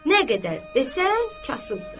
Nə qədər desən kasıbdır.